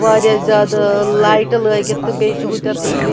.واریاہ زیادٕالایٹہٕ لٲگِتھ تہٕ بیٚیہِ چھ ہُتٮ۪تھ اِنگ